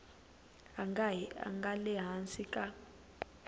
a nga le hansi ka